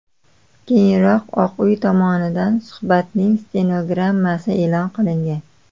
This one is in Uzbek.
Keyinroq Oq uy tomonidan suhbatning stenogrammasi e’lon qilingan.